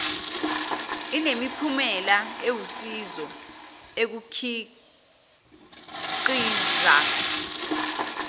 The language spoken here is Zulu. inemiphumela ewusizo ekukhiqiz